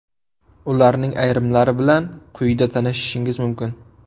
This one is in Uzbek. Ularning ayrimlari bilan quyida tanishishingiz mumkin.